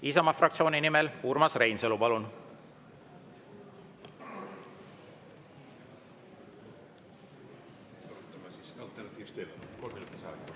Isamaa fraktsiooni nimel Urmas Reinsalu, palun!